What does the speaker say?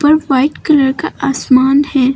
ऊपर white colour का आसमान है।